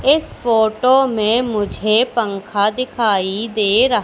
इस फोटो में मुझे पंखा दिखाई दे रहा--